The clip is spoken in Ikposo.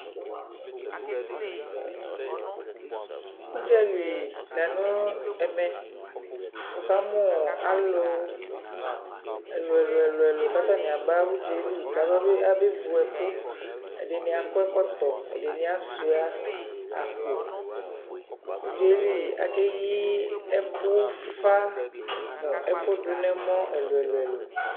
Udzali la nʋɛmɛ, wʋ ka mʋ alʋ ɛlʋ ɛlʋ ɛlʋ kʋ atanι aba ʋdża yɛ li k ʋ aba bevu, abe vu ɛkʋƐdιnι akɔ ɛκɔtɔ, ɛdιnι asyʋa akpo Ʋdza yɛ li, ake yiɛkʋ ʋfa nʋ ɛkʋ dʋ nʋ ɛmɔ ɛiʋ ɛlʋ ɛlʋ ɛlʋ